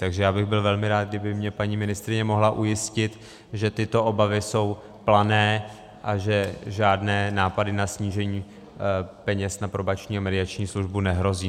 Takže já bych byl velmi rád, kdyby mě paní ministryně mohla ujistit, že tyto obavy jsou plané a že žádné nápady na snížení peněz na Probační a mediační službu nehrozí.